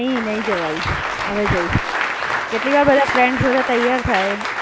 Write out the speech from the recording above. નહીં, નહીં જવાયું, હવે જઈશ. કેટલી વાર બધા ફ્રેન્ડ્સ બધા તૈયાર થાય